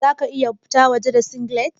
Za ka iya fita waje da singlet?